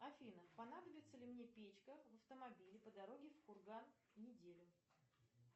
афина понадобится ли мне печка в автомобиле по дороге в курган неделю